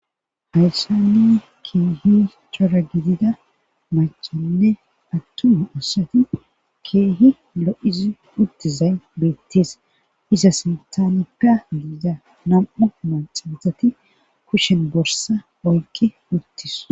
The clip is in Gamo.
Hayssani keehi cora gidida machanne attun oosati keehi lo'izi uttizay beettees iza sintanikka giida nam'u maxabazati kushen borsa oykki uttis.